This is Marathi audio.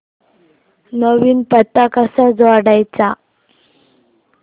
नवीन पत्ता कसा जोडायचा